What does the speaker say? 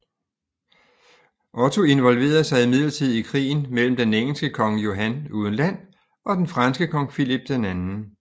Otto involverede sig imidlertid i krigen mellem den engelske kong Johan uden Land og den franske kong Filip 2